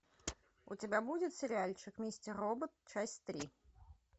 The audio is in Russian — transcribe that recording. у тебя будет сериальчик мистер робот часть три